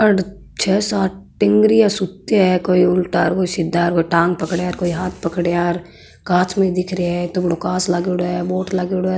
और छः सात टिगरिया सुता है कोई उल्टा कोई सीधा कोई टांग पकडा कोई हाथ पकडा कांच में दिख रहे है इत्ता बड़ा कांच लागेडो है बोर्ड लागेडॉ है।